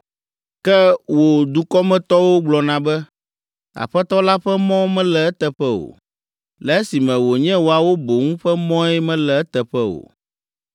“Ke wò dukɔmetɔwo gblɔna be, ‘Aƒetɔ la ƒe mɔ mele eteƒe o,’ le esime wònye woawo boŋ ƒe mɔe mele eteƒe o.